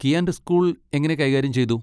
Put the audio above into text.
കിയാന്റെ school എങ്ങനെ കൈകാര്യം ചെയ്തു?